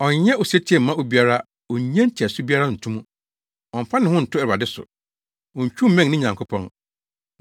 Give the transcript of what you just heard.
Ɔnyɛ osetie mma obiara onnye nteɛso biara nto mu. Ɔmfa ne ho nto Awurade so. Ontwiw mmɛn ne Nyankopɔn.